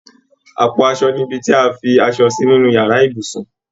Àpò aṣọ nibi ti a fi aṣọ si nínú yàrá ibùsùn